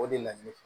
O de la ne